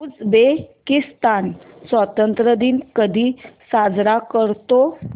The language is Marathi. उझबेकिस्तान स्वतंत्रता दिन कधी साजरा करतो